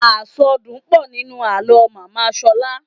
Àsọdùn pọ̀ nínú àlọ́ màmá Ṣọlá.